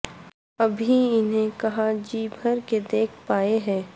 ابھی انہیں کہاں جی بھر کے دیکھ پائے ہیں